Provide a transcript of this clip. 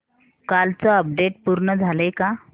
कालचं अपडेट पूर्ण झालंय का